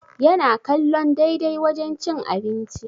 Yana kallon daidai wajen cin abinci